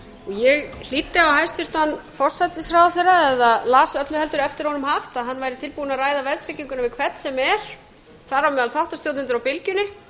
ég hlýddi á hæstvirtan forsætisráðherra eða las öllu heldur eftir honum haft að hann væri tilbúinn að ræða verðtrygginguna við hvern sem er þar á meðal þáttastjórnendur á bylgjunni